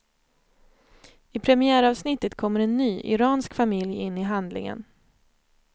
I premiäravsnittet kommer en ny, iransk familj in i handlingen.